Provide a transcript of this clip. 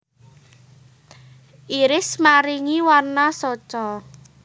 Iris maringi warna soca